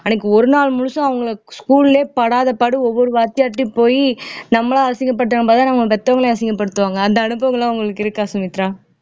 அன்னைக்கு ஒரு நாள் முழுசும் அவங்களை school ஏ படாத பாடு ஒவ்வொரு வாத்தியார்ட்டயும் போயி நம்மளா அசிங்கப்பட்டது பத்தாமதான் நம்மளை பெத்தவங்களையும் அசிங்கப்படுத்துவாங்க அந்த அனுபவம் எல்லாம் அவங்களுக்கு இருக்கா சுமித்ரா